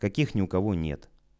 каких ни у кого нет